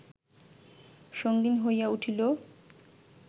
সঙ্গীণ হইয়া উঠিল